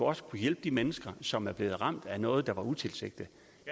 også kunne hjælpe de mennesker som er blevet ramt af noget der var utilsigtet